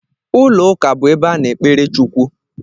Ụlọ ụka bú ebe a na-ekpere Chukwu.